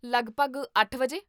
ਲੱਗਭਗ ਅੱਠ ਵਜੇ?